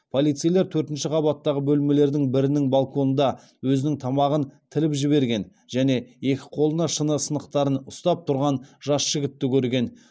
полицейлер төртінші қабаттағы бөлмелердің бірінің балконында өзінің тамағын тіліп жіберген және екі қолына шыны сынықтарын ұстап тұрған жас жігітті көрген